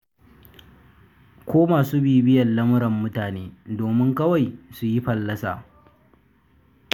Ko masu bibiyar lamuran mutane domin kawai su yi fallasa.